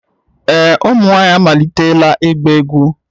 Ee, ụmụ nwanyị amalitela ịgba egwu